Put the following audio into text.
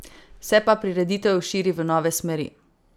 Se pa prireditev širi v nove smeri.